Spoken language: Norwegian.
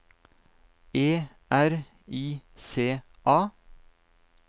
E R I C A